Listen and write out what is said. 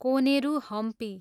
Koneru Hampi